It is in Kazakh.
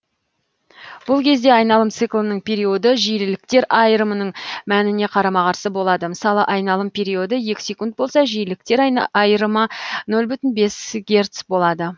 бұл кезде айналым циклының периоды жиіліктер айырымның мәніне қарама қарсы болады мысалы айналым периоды екі секунд болса жиіліктер айырымы нөл бүтін бес герц болады